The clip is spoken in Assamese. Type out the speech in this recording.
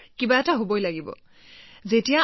যিকোনো ক্ষেত্ৰতে ই সৰ্বোচ্চ ঢৌৰ সৈতে আহিব লাগিব